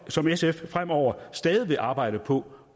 som sf fremover stadig vil arbejde på